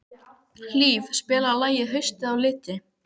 Hlíf, spilaðu lagið „Haustið á liti“.